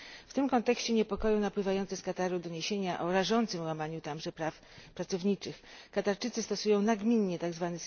W tym kontekście niepokoją napływające z Kataru doniesienia o rażącym łamaniu tamże praw pracowniczych. Katarczycy stosują nagminnie tzw.